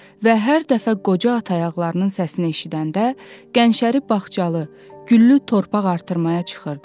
Və hər dəfə qoca ata ayaqlarının səsini eşidəndə, gəncəri bağçalı, güllü torpaq artırmağa çıxırdı.